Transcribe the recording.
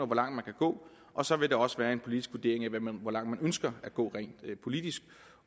hvor langt man kan gå og så vil der også være en vurdering af hvor langt man ønsker at gå rent politisk